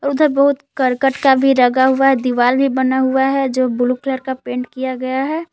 उधर बहुत करकट का भी लगा हुआ है दीवाल भी बना हुआ है जो ब्लू कलर का पेंट किया गया है।